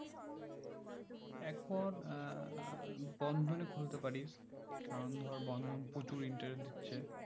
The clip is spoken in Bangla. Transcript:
এখন আহ বন্ধন এ খুলতে পারিস কারণ ধর বন্ধন প্রচুর interest দিচ্ছে